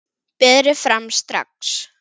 Berið fram strax.